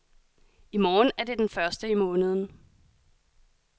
I morgen er det den første i måneden.